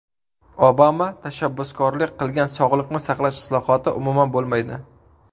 Obama tashabbuskorlik qilgan sog‘liqni saqlash islohoti umuman bo‘lmaydi.